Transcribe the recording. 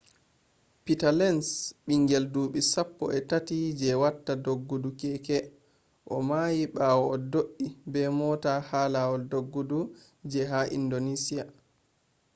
peter lenz bingel dubi sappoi tati je watta doggudu keke o may bawo o do’i be mota ha lawol doggudu je ha indonesia